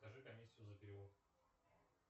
покажи комиссию за перевод